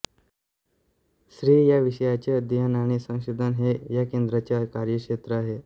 स्त्री या विषयाचे अध्ययन आणि संशोधन हे या केंद्राचे कार्यक्षेत्र आहे